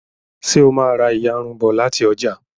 ṣe o má rá iyarun bó láti ọjà